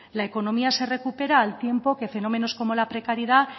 la economía se recupera al tiempo que fenómenos como la precariedad